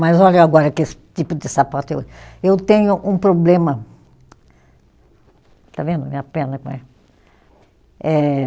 Mas olha eu agora que esse tipo de sapato eu. Eu tenho um problema, está vendo a minha perna como é? Eh